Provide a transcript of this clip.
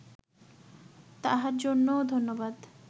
তাহার জন্যও ধন্যবাদ